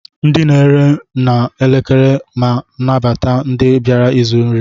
Ndi na eri na ekele ma nabata ndi biara ịzụ nri.